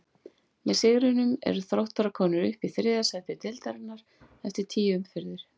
Með sigrinum eru Þróttarar komnir upp í þriðja sæti deildarinnar eftir tíu umferðir.